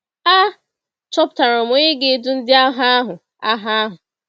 A chọpụtara onye ga-edu ndị agha ahụ. agha ahụ.